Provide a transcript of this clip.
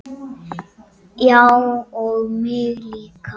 Já og mig líka.